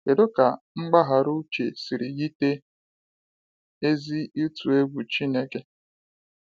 Kedụ ka mgbaghara Uche siri yite ezi ịtụ egwu Chineke?